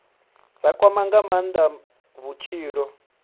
dza kwama nga maanda vhutshilo